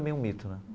Um mito né.